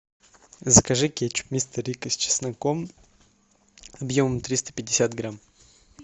закажи кетчуп мистер рикко с чесноком объемом триста пятьдесят грамм